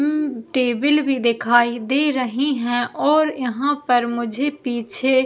उम्म table भी दिखाई दे रही है और यहाँ पर मुझे पीछे --